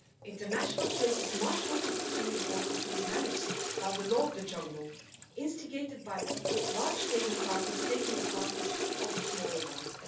International trade is much too important to be managed by the law of the jungle, instigated by large trading partners taking advantage of smaller ones.